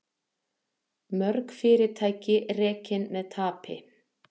Mörg fyrirtæki rekin með tapi